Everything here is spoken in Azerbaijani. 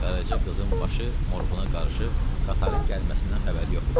Qaraca qızın başı moruğuna qarışıb qatarın gəlməsindən xəbəri yox idi.